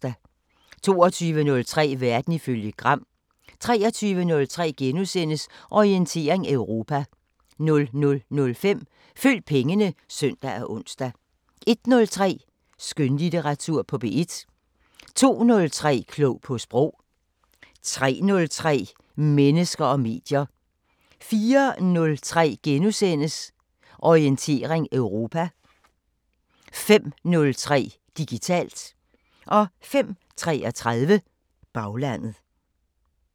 22:03: Verden ifølge Gram 23:03: Orientering Europa * 00:05: Følg pengene (søn og ons) 01:03: Skønlitteratur på P1 02:03: Klog på Sprog 03:03: Mennesker og medier 04:03: Orientering Europa * 05:03: Digitalt 05:33: Baglandet